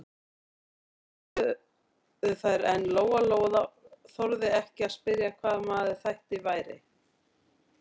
Þær borðuðu þær en Lóa-Lóa þorði ekki að spyrja hvaða maður þetta væri.